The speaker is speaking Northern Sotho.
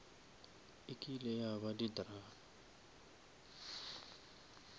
ekile ya ba di drama